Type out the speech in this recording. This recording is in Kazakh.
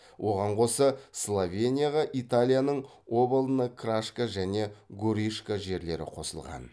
оған қоса словенияға италияның обална крашка және горишка жерлері қосылған